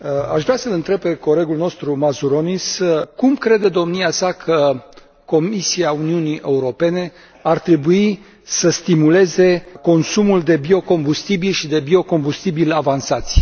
Aș vrea să l întreb pe colegul nostru Mazuronis cum crede domnia sa că Comisia Uniunii Europene ar trebui să stimuleze consumul de biocombustibili și de biocombustibili avansați.